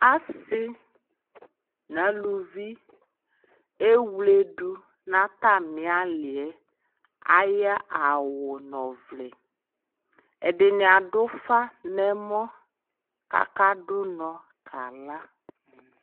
Asi na luvi ɛwledu na ta mi ali yɛAya awu nɔ vlɛ Ɛdini adu fa nɛ mɔ ka du nɔ ka la